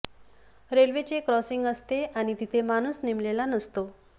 रेल्वेचे क्रॉसिंग असते आणि तिथे माणूस नेमलेला नसतो